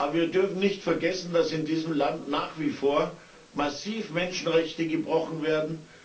Aber wir dürfen nicht vergessen, dass in diesem Land nach wie vor massiv Menschenrechte gebrochen werden.